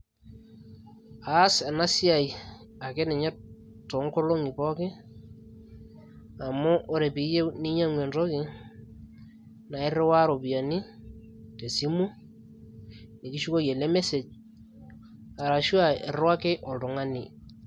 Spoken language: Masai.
aas ena siai ake ninye toonkolong'i pooki amu ore piiyieu ninyang'u entoki naa irriwaa iropiyiani tesimu nikishukoki ele message arashu aa irriwaki oltung'ani.